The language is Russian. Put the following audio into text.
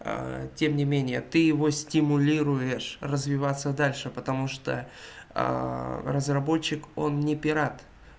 тем не менее ты его стимулируешь развиваться дальше потому что разработчик он не пират